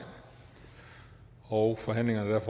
og forhandlingerne er